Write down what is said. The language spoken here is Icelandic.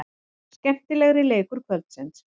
Skemmtilegri leikur kvöldsins.